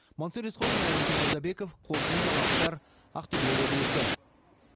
мансұр есқожин айнадин молдабеков қорытынды жаңалықтар ақтөбе облысы